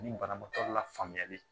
Ni banabaatɔ lafaamuyali